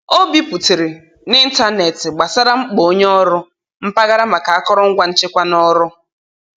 O biputere n'ịntanetị gbasara mkpa onye ọrụ mpaghara maka akụrụngwa nchekwa na'ọrụ.